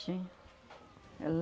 Tinha. É